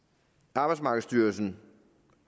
arbejdsmarkedsstyrelsen